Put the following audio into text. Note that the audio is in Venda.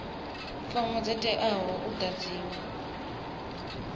fomo dzo teaho u ḓadziwa